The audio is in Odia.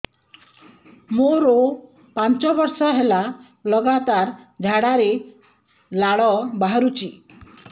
ମୋରୋ ପାଞ୍ଚ ବର୍ଷ ହେଲା ଲଗାତାର ଝାଡ଼ାରେ ଲାଳ ବାହାରୁଚି